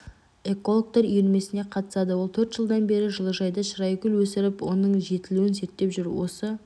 экологтар үйірмесіне қатысады ол төрт жылдан бері жылыжайда шырайгүл өсіріп оның жетілуін зерттеп жүр осы